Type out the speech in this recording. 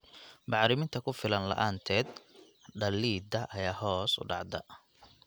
Bacriminta ku filan la'aanteed, dhalidda ayaa hoos u dhacda.